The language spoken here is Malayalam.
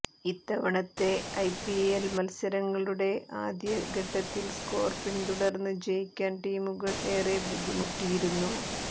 ഇത്തവണത്തെ ഐപിഎൽ മത്സരങ്ങളുടെ ആദ്യ ഘട്ടത്തിൽ സ്കോർ പിന്തുടർന്ന് ജയിക്കാൻ ടീമുകൾ ഏറെ ബുദ്ധിമുട്ടിയിരുന്നു